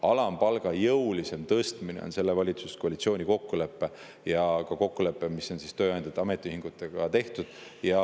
Alampalga jõulisem tõstmine on selle valitsuskoalitsiooni kokkulepe ja ka kokkulepe, mis on tehtud tööandjate ja ametiühingutega.